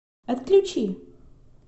отключи